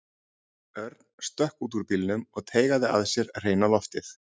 Örn stökk út úr bílnum og teygaði að sér hreina loftið.